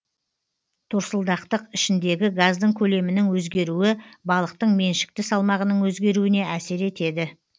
торсылдақтық ішіндегі газдың көлемінің өзгеруі балықтың меншікті салмағының өзгеруіне әсер етеді